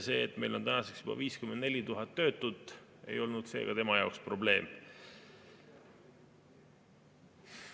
See, et meil on tänaseks juba 54 000 töötut, ei ole seega tema jaoks probleem.